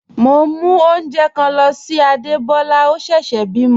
Mo n mú ọ̀unjẹ̣́ kan ló sí Ádébólá, ọ̀ sẹ́sè bímo.